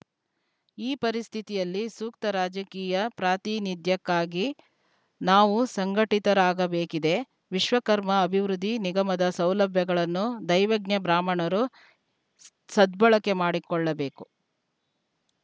ಈ ಪರಿಸ್ಥಿತಿಯಲ್ಲಿ ಸೂಕ್ತ ರಾಜಕೀಯ ಪ್ರಾತಿನಿಧ್ಯಕ್ಕಾಗಿ ನಾವೂ ಸಂಘಟಿತರಾಗಬೇಕಿದೆ ವಿಶ್ವಕರ್ಮ ಅಭಿವೃದ್ಧಿ ನಿಗಮದ ಸೌಲಭ್ಯಗಳನ್ನು ದೈವಜ್ಞ ಬ್ರಾಹ್ಮಣರು ಸ್ ಸದ್ಭಳಕೆ ಮಾಡಿಕೊಳ್ಳಬೇಕು